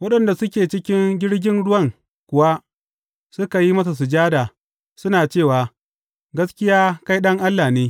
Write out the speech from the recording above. Waɗanda suke cikin jirgin ruwan kuwa suka yi masa sujada, suna cewa, Gaskiya kai Ɗan Allah ne.